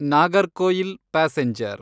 Nagercoil passenger